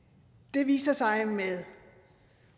det viser sig med